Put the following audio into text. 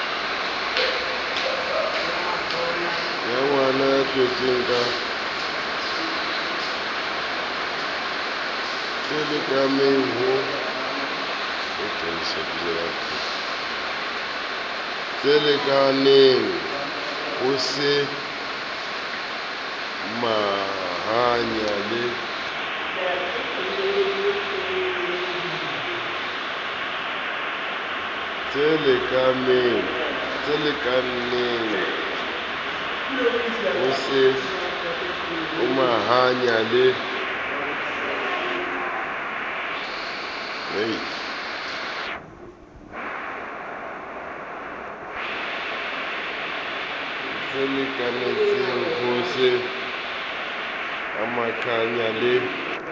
tselekaneng ho se amahanya le